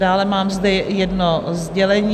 Dále zde mám jedno sdělení.